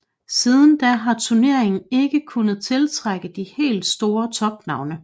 Siden da har turneringen ikke kunnet tiltrække de helt store topnavne